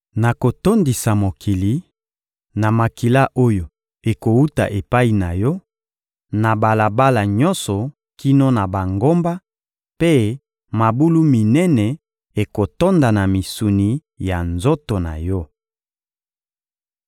Nakotondisa mokili, na makila oyo ekowuta epai na yo, na balabala nyonso kino na bangomba; mpe mabulu minene ekotonda na misuni ya nzoto na yo.